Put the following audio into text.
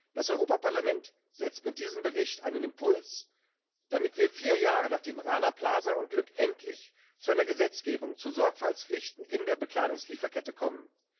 Das Europaparlament setzt mit diesem Bericht einen Impuls, damit wir vier Jahre nachdem Rana Plaza Unglück endlich zu einer Gesetzgebung zu Sorgfaltspflichten in der Bekleidungslieferkette kommen.